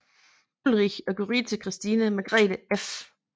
Ulrich og Gyrithe Christine Margrethe f